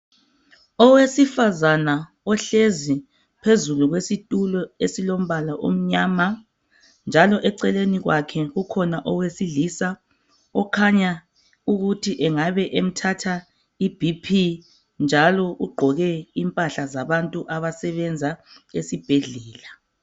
Owesifazana ohlezi phezulu kwesitulo esilombala omnyama njalo eceleni kwakhe kukhona owesilisa okhanya ukuthi engabe emthatha iBp njalo ugqoke impahla zabantu abasebenza esibhedlela.